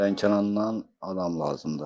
Lənkərannan adam lazımdır.